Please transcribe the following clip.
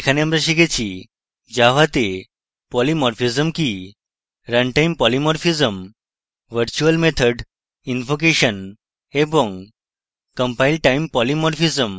এখানে আমরা শিখেছি: